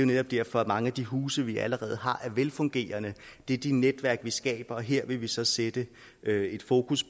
netop derfor at mange af de huse vi allerede har er velfungerende det er de netværk man skaber og her vil vi så sætte et fokus